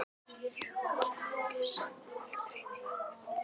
Ég útiloka samt aldrei neitt.